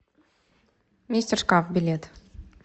мистер шкаф билет